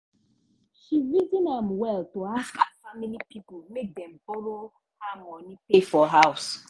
she reason am well to ask her family pipo make dem borrow her money pay for house.